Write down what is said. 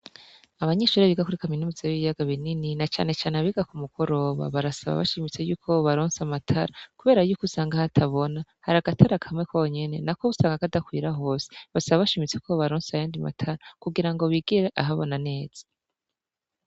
Abanyeshuri biga muri kaminuza y'ibiyaga binini na canecane abiga ku mugoroba barasaba yuko bobaronsa amatara kubera yuko usanga hatabona hari agatara kamwe konyene nako usanga kadakwira hose basaba bashimitse ko bobaronsa ayandi matara kugirango bigire ahabona neza.